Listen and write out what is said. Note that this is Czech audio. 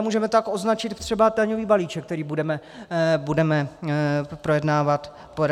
A můžeme tak označit i daňový balíček, který budeme projednávat zítra.